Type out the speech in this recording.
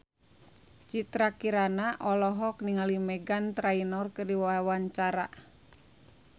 Citra Kirana olohok ningali Meghan Trainor keur diwawancara